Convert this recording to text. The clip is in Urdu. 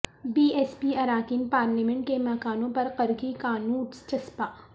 بی ایس پی اراکین پارلیمنٹ کے مکانوں پر قرقی کا نوٹس چسپاں